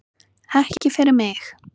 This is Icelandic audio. Ekki fyrir mig